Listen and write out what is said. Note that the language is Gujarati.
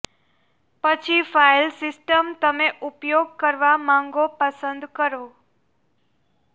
પછી ફાઈલ સિસ્ટમ તમે ઉપયોગ કરવા માંગો પસંદ કરો